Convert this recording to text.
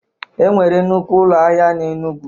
Enwere nnukwu ụlọ ahịa n'Enugwu